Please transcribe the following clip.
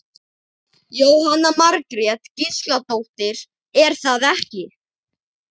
Jóhanna Margrét Gísladóttir: Er það ekki?